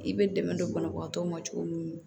I bɛ dɛmɛ don banabagatɔw ma cogo min na